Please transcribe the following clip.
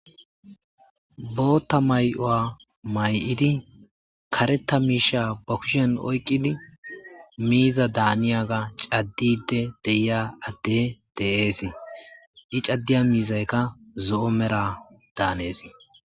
bootta may7o7a may7idi kareta miisha ba kushen oykqidi miiza daaniyaga caddide deiya adde deeesi i caddiya miizaykka zo7o mera daaneesi